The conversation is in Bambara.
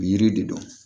O yiri de don